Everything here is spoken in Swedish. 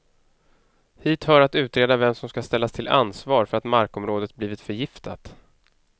Hit hör att utreda vem som ska ställas till ansvar för att markområdet blivit förgiftat.